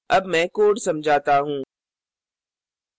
अब मैं code समझाता हूँ